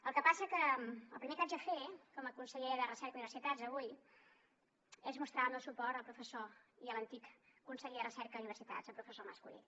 el que passa que el primer que haig de fer com a conseller de recerca i universitats avui és mostrar el meu suport al professor i a l’antic conseller de recerca i universitats el professor mas colell